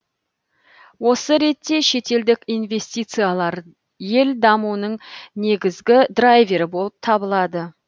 осы ретте шетелдік инвестициялар ел дамуының негізгі драйвері болып табылады